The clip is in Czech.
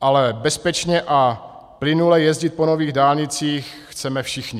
ale bezpečně a plynule jezdit po nových dálnicích chceme všichni.